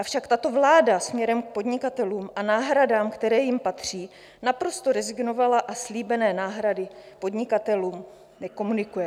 Avšak tato vláda směrem k podnikatelům a náhradám, které jim patří, naprosto rezignovala a slíbené náhrady podnikatelům nekomunikuje.